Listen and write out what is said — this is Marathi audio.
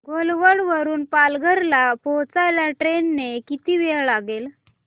घोलवड वरून पालघर ला पोहचायला ट्रेन ने किती वेळ लागेल